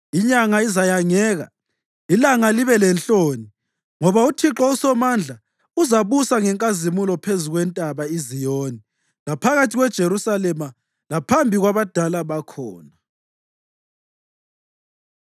Inyanga izayangeka, ilanga libelenhloni; ngoba uThixo uSomandla uzabusa ngenkazimulo phezu kweNtaba iZiyoni laphakathi kweJerusalema, laphambi kwabadala bakhona.